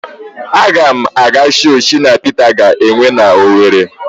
Aga m aga show Shina Pita ga-enwe n'Owere.